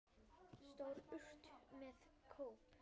Stór urta með kóp.